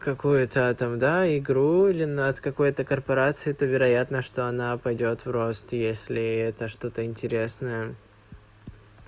какую-то там да игру или над какой-то корпорацией то вероятно что она пойдёт в рост если это что-то интересное